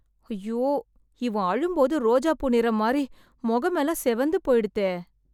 ஐயோ, இவன் அழும்போது ரோஜாப்பூ நிறம் மாறி, முகமெல்லாம் சிவந்து போய்டுத்தே...